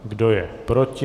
Kdo je proti?